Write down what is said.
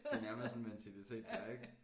Det nærmest sådan en mentalitet der er ik